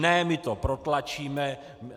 Ne, my to protlačíme.